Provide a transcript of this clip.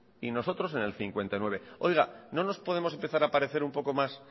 y nosotros en el cincuenta y nueve oiga no nos podemos empezar a parecer un poco más